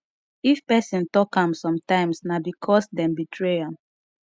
if persin talk am sometimes na because dem betray am